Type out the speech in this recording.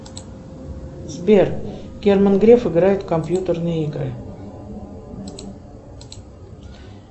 сбер герман греф играет в компьютерные игры